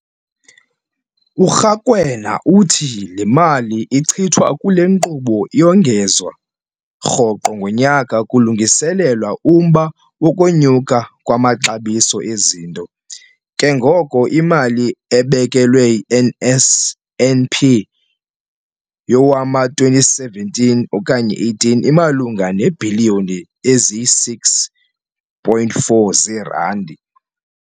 URakwena uthi le mali ichithwa kule nkqubo iyongezwa rhoqo ngonyaka kulungiselelwa umba wokunyuka kwamaxabiso ezinto, ke ngoko imali ebekelwe i-NSNP yowama-2017 okanye 18 imalunga neebhiliyoni eziyi-6.4 zeerandi.